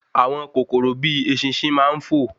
Àwọn kòkòrò bíi eṣinṣin máa n fo